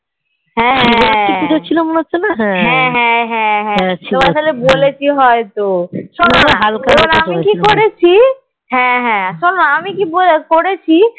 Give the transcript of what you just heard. হ্যাঁ হ্যাঁ হ্যাঁ হ্যাঁ হ্যাঁ তোমাকে তাহলে বলেছি হয়তো আমি কি করেছি হ্যাঁ হ্যাঁ শোনো আমি কি করেছি